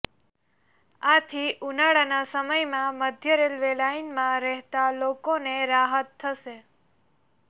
આથી ઉનાળાના સમયમાં મધ્ય રેલવે લાઇનમાં રહેતા લોકોને રાહત થશે